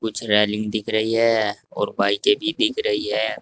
कुछ रेलिंग दिख रही है और बाईकें भी दिख रही है।